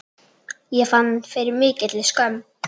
Ég fann fyrir mikilli skömm.